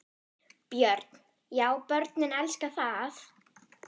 Björn: Já börnin elska það?